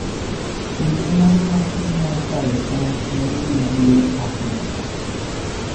Kinde mar nyasi mar kayo cham en gima duong' ahinya